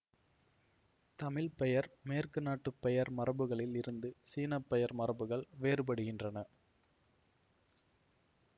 தமிழ் பெயர் மேற்குநாட்டு பெயர் மரபுகளில் இருந்து சீன பெயர் மரபுகள் வேறுபடுகின்றன